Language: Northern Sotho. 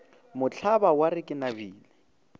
mohlaba wa re ke nabile